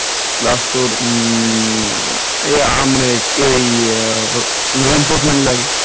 Plus তোর উম আমার কে এই manforce লাগে,